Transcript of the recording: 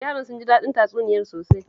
Yaran sun ji daɗin tatsuniyar sosai